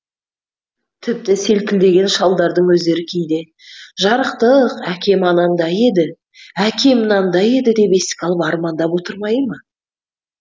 тіпті селкілдеген шалдардың өздері кейде жарықтық әкем анандай еді әкем мынандай еді деп еске алып армандап отырмай ма